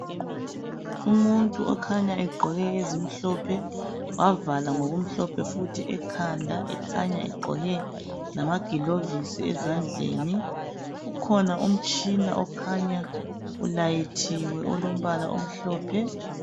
Umuntu okhanya egqoke ezimhlophe wavala ngomhlophe futhi ekhanda ekhanya egqoke lama gilovisi ezandleni. Ukhona umtshina okhanya ulayithiwe olombala omhlophe.